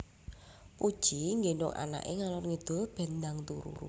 Puji nggendong anak e ngalor ngidul ben ndang turu